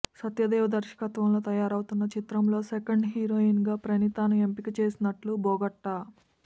సత్యదేవ్ దర్శకత్వంలో తయారవుతున్న చిత్రంలో సెకెండ్ హీరోయిన్ గా ప్రణీతను ఎంపిక చేసినట్లు బోగట్టా